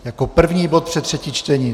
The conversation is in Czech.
Jako první bod před třetí čtení.